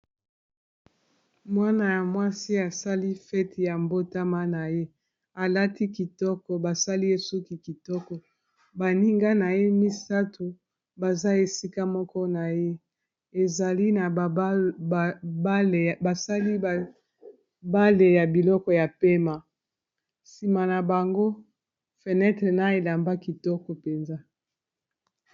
Mwana ya mwasi asali fete ya mbotama na ye alati kitoko basali ye suki kitoko baninga na ye misato baza esika moko na ye ezali na basali bale ya biloko ya pema nsima na bango fenetre na elamba kitoko mpenza.